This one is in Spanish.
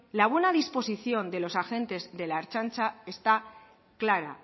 la buena disposición de los agentes de la ertzaintza está clara